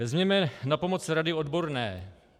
Vezměme na pomoc rady odborné.